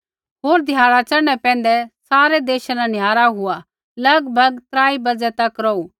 होर ध्याड़ा च़ढ़ने पैंधै सारै देशा न निहारा हुआ लगभग त्राई बाज़ै तक रौहू